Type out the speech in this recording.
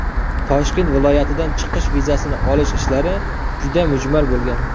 Toshkent viloyatidan chiqish vizasini olish ishlari juda mujmal bo‘lgan.